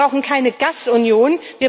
Wir brauchen keine Gasunion.